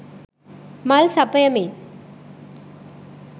මල් සපයමින්